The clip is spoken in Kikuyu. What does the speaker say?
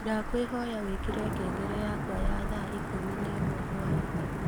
ndakwīhoya wīkīre ngengere yakwa ya thaa ikūmi nemwe hwainī